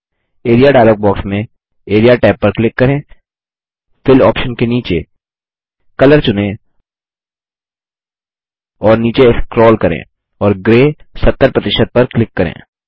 area dialog box में AREA tab पर click करेंFill आप्शन के नीचे कलर चुनें और नीचे स्क्रोल करें और ग्रे 70 पर क्लिक करें